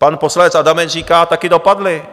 Pan poslanec Adamec říká - taky dopadli.